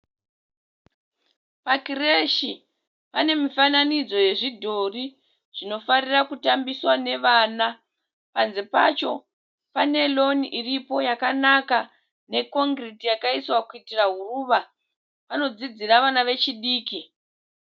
Pakireshi, panemifananidzi yezvidhori zvinofarira kutambiswa nevana. Panze pacho pane roni iripo yakanaka nekongiriti iripo kuitira huruva , panodzidzira vana vechidiki.